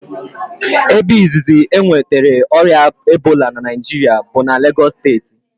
Ebe izizi e nwetara ọrịa Ebola na Naịjiria bụ na Legos steeti